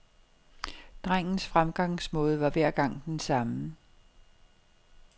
Drengens fremgangsmåde var hver gang den samme.